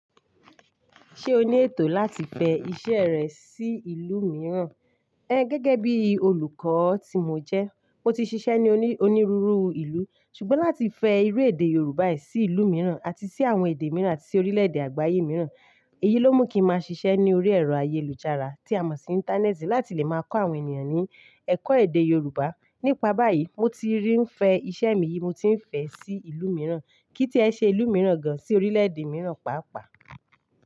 Ṣé o ní ètò láti fẹ iṣẹ́ rẹ sí ìlú mìíràn? Ẹ gẹ́gẹ́ bí olùkọ́ tí mo jẹ, mo ti ṣiṣẹ́ ní onírúurú ìlú. Ṣùgbọ́n láti fẹ irú èdè Yorùbá yìí sí ìlú mìíràn àti sí àwọn èdè mìíràn àti sí orílẹ̀-èdè àgbáyé mìíràn, èyí ló mú kí máa ṣiṣẹ́ ní orí ẹ̀rọ ayélujára tí a mọ̀ sí Íńtánẹ́ẹ̀tì láti lè máa kọ́ àwọn ènìyàn ní ẹ̀kọ́ èdè Yorùbá. Nípa báyìí, mo ti ri fẹ iṣẹ́ mi yìí, mo ti ń fẹ́ ẹ sí ìlú mìíràn. Kí í tí ẹ ṣe ìlú mìíràn gan-an sí orílẹ̀-èdè mìíràn pàápàá.